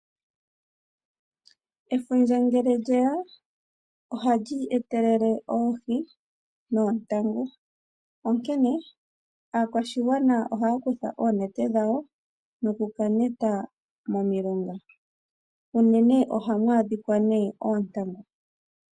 Efundja ngele lyeya oha lyi etelele oohi noontangu. Onkene aakwashigwana ohaya kutha oonete dhawo noku ka neta momilonga unene ohamu adhika nee oontangu.